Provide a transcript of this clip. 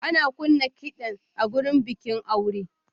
Ana kunna kiɗan a wurin bikin aure.